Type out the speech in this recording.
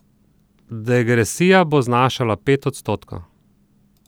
Degresija bo znašala pet odstotkov.